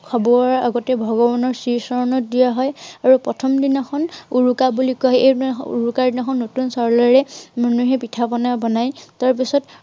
আগতে ভগৱানৰ চিৰি চৰনত দিয়াৰ এৰ প্ৰথম দিনাখন উৰুকা বুলি কয়। এইদিনাখন উৰুকাৰ দিনাখন নতুন চাউলেৰে মানুহে পিঠা পনা বনায়। তাৰপিছত